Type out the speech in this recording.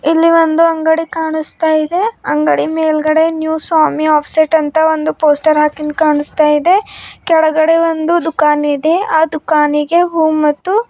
ಅಲ್ಲಿ ಒಂದು ಅಂಡಗಿ ಕಾಣಸ್ತಾ ಇದೆ ಅಂಡಗಿ ಮೇಲ್ಗಡೆ ನ್ಯೂ ಸ್ವಾಮಿ ಆಫ್ ಸೆಟ್ ಅಂತ ಒಂದು ಪೋಸ್ಟರ್ ಹಾಕಿಂದ ಕಾಣಸ್ತಾ ಇದೆ ಕೆಳಗಡೆ ಒಂದು ದುಖಾನ್ ಇದೆ ಆ ದೂಖಾನಿಗೆ ಹೂ ಮತ್ತು --